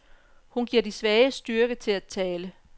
Hun giver de svage styrke til at tale.